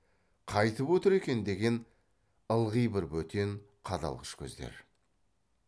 қайтіп отыр екен деген ылғи бір бөтен қадалғыш көздер